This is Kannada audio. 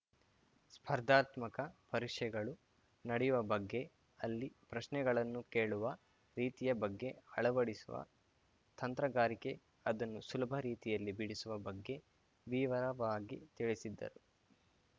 ಸ್ಪರ್ಧಾತ್ಮಕ ಪರೀಕ್ಷೆಗಳು ನಡೆಯುವ ಬಗ್ಗೆ ಅಲ್ಲಿ ಪ್ರಶ್ನೆಗಳನ್ನು ಕೇಳುವ ರೀತಿಯ ಬಗ್ಗೆ ಅಳವಡಿಸುವ ತಂತ್ರಗಾರಿಕೆ ಅದನ್ನು ಸುಲಭ ರೀತಿಯಲ್ಲಿ ಬಿಡಿಸುವ ಬಗ್ಗೆ ವಿವರವಾಗಿ ತಿಳಿಸಿದ್ದರು